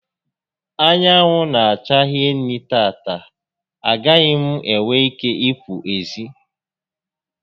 Anwụ n'acha hinne tata, a gaghị m enwe ike i pụ ezi